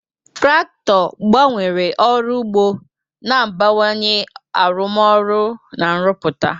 Traktọ gbanwere ọrụ ugbo, na-abawanye arụmọrụ na nrụpụta.